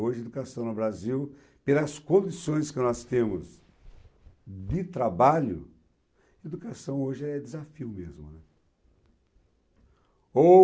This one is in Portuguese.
Hoje, a educação no Brasil, pelas condições que nós temos de trabalho, a educação hoje é desafio mesmo, né. Ou